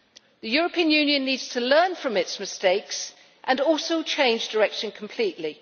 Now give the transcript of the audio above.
The European Union needs to learn from its mistakes and also change direction completely.